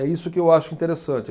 É isso que eu acho interessante.